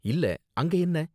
இல்ல, அங்க என்ன?